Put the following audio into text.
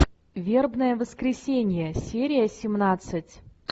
вербное воскресенье серия семнадцать